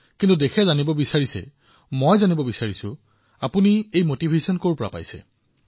কিন্তু দেশবাসীয়ে জানিবলৈ বিচাৰিব আপুনি এই উৎসাহ কিদৰে পালে